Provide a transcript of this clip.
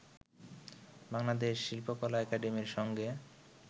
বাংলাদেশ শিল্পকলা একাডেমির সঙ্গে